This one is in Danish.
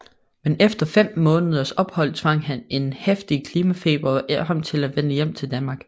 Men efter et 5 måneders ophold tvang en heftig klimatfeber ham til at vende hjem til Danmark